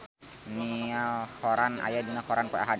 Niall Horran aya dina koran poe Ahad